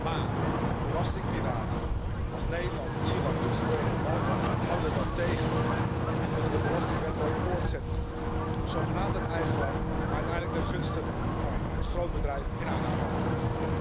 Maar belastingpiraten als Nederland, Ierland, Luxemburg en Malta houden dat tegen en willen de belastingwedloop voortzetten, zogenaamd uit eigenbelang, maar uiteindelijk ten gunste van het grootbedrijf en zijn aandeelhouders.